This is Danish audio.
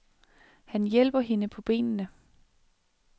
Han hjælper hende på benene.